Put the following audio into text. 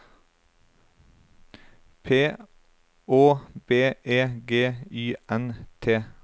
P Å B E G Y N T